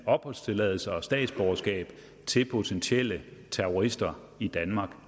opholdstilladelse og statsborgerskab til potentielle terrorister i danmark